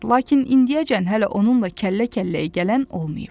Lakin indiyəcən hələ onunla kəllə-kəlləyə gələn olmayıb.